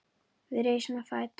Við rísum á fætur.